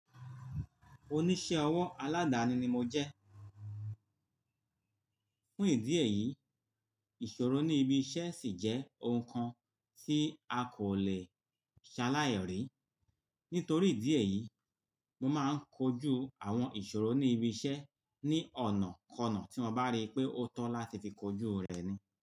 Oníṣẹ́ ọwọ́ aládáni ni mo jẹ́. Fún ìdí èyí, ìṣòro ní ibi iṣẹ́ sì jẹ́ oun kan tí a kò lè ṣaláìrí. Nítorí ìdí èyí, mo máa ń kojú àwọn ìṣòro ní ibi iṣẹ́ ní ọ̀nàkọnà tí mo bá rí pé ó tọ́ láti fi kojú rẹ̀ ni.